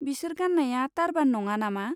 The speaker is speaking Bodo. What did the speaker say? बिसोर गान्नाया टारबान नङा नामा?